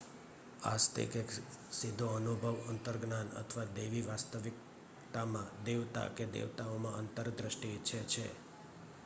આસ્તિક એક સીધો અનુભવ અંતર્જ્ઞાન અથવા દૈવી વાસ્તવિકતામાં / દેવતા કે દેવતાઓમાં આંતરદૃષ્ટિ ઇચ્છે છે